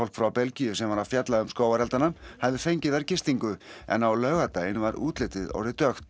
frá Belgíu sem var að fjalla um skógareldana hafði fengið þar gistingu en á laugardaginn var útlitið orðið dökkt